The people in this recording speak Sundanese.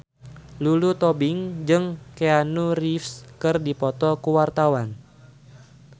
Lulu Tobing jeung Keanu Reeves keur dipoto ku wartawan